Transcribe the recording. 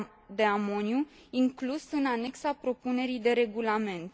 de amoniu, inclus în anexa propunerii de regulament.